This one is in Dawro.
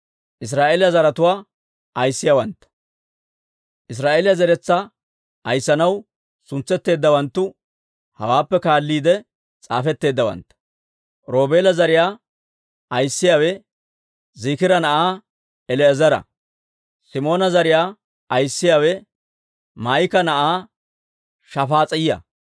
Israa'eeliyaa zeretsaa ayissanaw suntsetteeddawanttu hawaappe kaalliide s'aafetteeddawantta. Roobeela zariyaa ayissiyaawe Ziikira na'aa El"eezera. Simoona zariyaa ayissiyaawe Maa'ika na'aa Shafaas'iyaa.